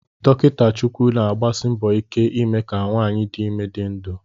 Dokita Chukwu na-agbasi mbọ ike ime ka nwanyị dị ime dị ndụ